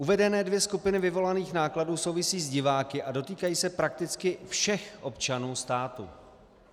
Uvedené dvě skupiny vyvolaných nákladů souvisí s diváky a dotýkají se prakticky všech občanů státu.